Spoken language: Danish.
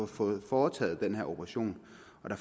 fået foretaget den her operation